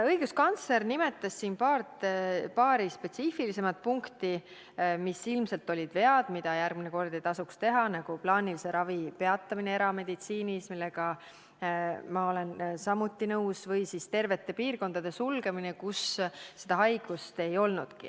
Õiguskantsler nimetas siin paari spetsiifilisemat punkti, mis ilmselt olid vead ja mida järgmine kord teha ei tasuks, näiteks plaanilise ravi peatamine erameditsiinis – olen samuti sellega nõus – või tervete piirkondade sulgemine, kus seda haigust ei olnudki.